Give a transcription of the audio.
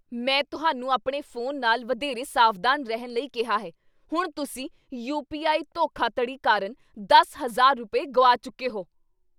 ਮੈਂ ਤੁਹਾਨੂੰ ਆਪਣੇ ਫੋਨ ਨਾਲ ਵਧੇਰੇ ਸਾਵਧਾਨ ਰਹਿਣ ਲਈ ਕਿਹਾ ਹੈ ਹੁਣ ਤੁਸੀਂ ਯੂ. ਪੀ. ਆਈ. ਧੋਖਾਧੜੀ ਕਾਰਨ ਦਸ ਹਜ਼ਾਰ ਰੁਪਏ, ਗੁਆ ਚੁੱਕੇ ਹੋ